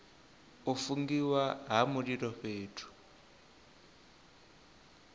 u fungiwa ha mililo fhethu